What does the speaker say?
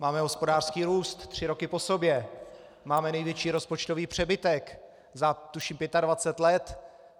Máme hospodářský růst tři roky po sobě, máme největší rozpočtový přebytek, tuším, za 25 let.